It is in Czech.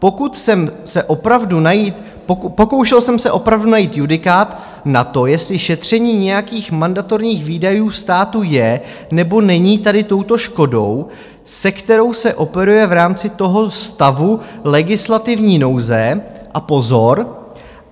Pokoušel jsem se opravdu najít judikát na to, jestli šetření nějakých mandatorních výdajů státu je, nebo není tady touto škodou, se kterou se operuje v rámci toho stavu legislativní nouze - a pozor!